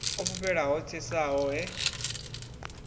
o fhufhela ho tsesaho he